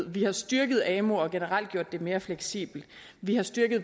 vi har styrket amu og generelt gjort det mere fleksibelt vi har styrket